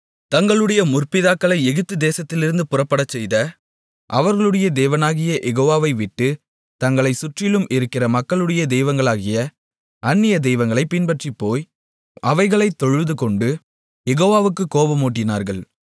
தங்களுடைய முற்பிதாக்களை எகிப்து தேசத்திலிருந்து புறப்படச் செய்த அவர்களுடைய தேவனாகிய யெகோவாவைவிட்டு தங்களைச் சுற்றிலும் இருக்கிற மக்களுடைய தெய்வங்களாகிய அந்நிய தெய்வங்களைப் பின்பற்றிப்போய் அவைகளைத் தொழுதுகொண்டு யெகோவாவுக்குக் கோபமூட்டினார்கள்